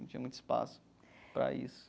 Não tinha muito espaço para isso.